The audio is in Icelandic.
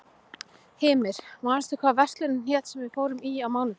Hymir, manstu hvað verslunin hét sem við fórum í á mánudaginn?